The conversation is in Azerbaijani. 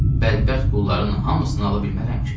Bədbəxt qulların hamısını ala bilmərəm ki!